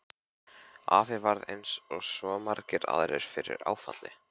Afi varð eins og svo margir aðrir fyrir áfalli.